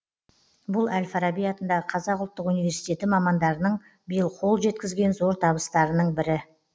бұл әл фараби атындағы қазақ ұлттық университеті мамандарының биыл қол жеткізген зор табыстарының бірі